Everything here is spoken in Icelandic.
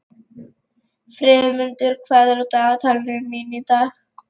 Friðmundur, hvað er á dagatalinu mínu í dag?